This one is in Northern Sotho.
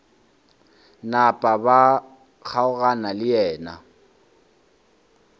napa ba kgaogana le yena